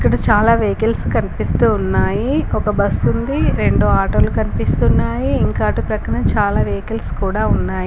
ఇక్కడ చాలా వెహికల్స్ కన్పిస్తూ ఉన్నాయి ఒక బస్సుంది రెండు ఆటోలు కన్పిస్తున్నాయి ఇంకా అటు ప్రక్కన చాలా వెహికల్స్ కూడా ఉన్నాయి.